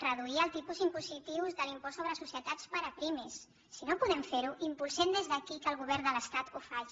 reduir el tipus impositiu de l’impost sobre societats per a pimes si no podem fer·ho impul·sem des d’aquí que el govern de l’estat ho faci